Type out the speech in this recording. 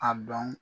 A dɔn